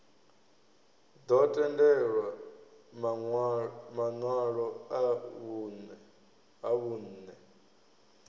ḓo tendelwa maṋwalo a vhunṋe